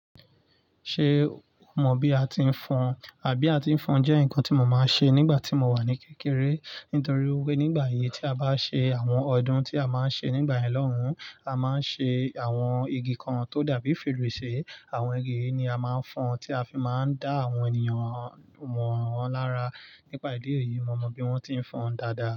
Ṣé o mọ bí a ti ń fon? Àbí a ti ń fon jẹ́ ǹkan tí mo má ń ṣe nígbà tí mo wà ní kékeré nítorí wípé nígbà yẹn tí a bá ṣe àwọn ọdún tí a má ń ṣe nígbà yẹn loun, a má ń ṣe àwọn igi kan tó dàbí fèrèsé. Àwọn igi yìí ni a máa ń fon tí a fi má ń dá àwọn ènìyàn wọn lará. Nípa ìdí èyí, mo mọ bí wọn ti ń fon dada.